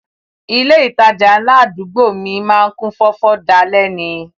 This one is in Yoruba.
Ilé ìtajà ńlá àdúgbò mi má ń kún fọ́fọ́ dalẹ́ ni